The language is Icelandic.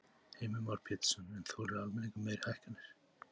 Heimir Már Pétursson: En þolir almenningur meiri hækkanir?